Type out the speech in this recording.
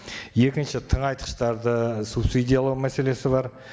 екінші тыңайтқыштарды субсидиялау мәселесі бар